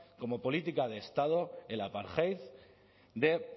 como política de estado el apartheid de